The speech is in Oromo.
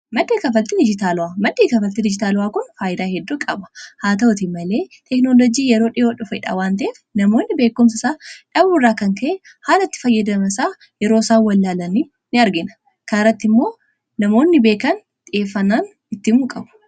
madii kafaltiin ijitaalu'a maddhii kafaltii dijitaalu'aa kun faayyidaa heddoo qaba haa ta'uti malee teeknolojii yeroo dhi'oo dhufedha waan ta'ef namoonni beekumsa isaa dhabuu irraa kan ka'e haala itti fayyadama isaa yeroo isaan wallaalan in argina kaan irratti immoo namoonni beekan xiyyeeffanaan ittiin himu qabu